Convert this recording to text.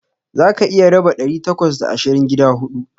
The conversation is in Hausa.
Zaka iya raba ɗari takwas da ashirin gida huɗu.